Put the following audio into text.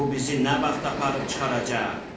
Bu bizi nə vaxt aparıb çıxaracaq?